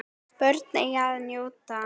Börnin eiga að njóta vafans.